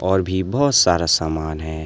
और भी बहोत सारा सामान है।